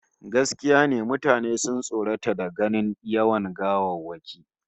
Gaskiya ne, mutane sun tsorata da ganin yawan gawawwakin